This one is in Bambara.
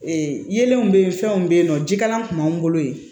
Ee yelenw bɛ ye fɛnw bɛ yen nɔ jikalan tun b'an bolo yen